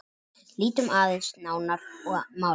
Lítum aðeins nánar á málið.